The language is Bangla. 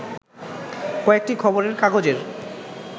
কয়েকটি খবরের কাগজের